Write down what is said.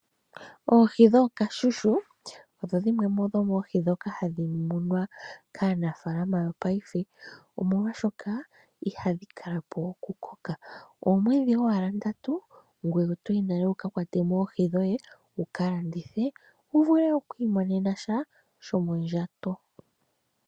Oohi dhookashushu odho dhimwe dhomoohi ndhoka hadhi munwa kaanafaalama yopaife omolwaashoka, ihadhi kalapo okukoka. Oomwedhi owala ndatu ngwee otoyi nale wuka kwatemo oohi dhoye wukalandithe, wuvule wo oku imonena sha shomondjato.